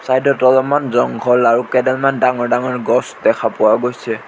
চাইডত অলপমান জংঘল আৰু কেইডালমান ডাঙৰ ডাঙৰ গছ দেখা পোৱা গৈছে।